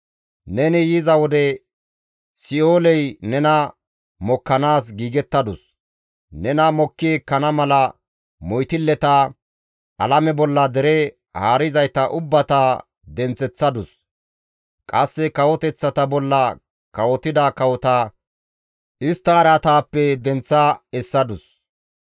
«Neni yiza wode Si7ooley nena mokkanaas giigettadus; nena mokki ekkana mala moytilleta, alame bolla dere haarizayta ubbata denththeththadus; qasse kawoteththata bolla kawotida kawota istta araataappe denththa essadus.